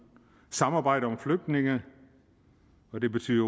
samarbejdet om flygtninge og det betyder